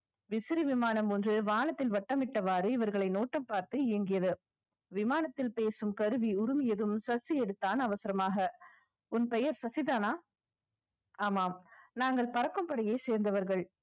விசிறி விமானம் ஒன்று, வானத்தில் வட்டமிட்டவாறு இவர்களை நோட்டம் பார்த்து ஏங்கியது விமானத்தில் பேசும் கருவி உருவியதும் சசி எடுத்தான் அவசரமாக. உன் பெயர் சசிதானா ஆமாம் நாங்கள் பறக்கும் படையை சேர்ந்தவர்கள்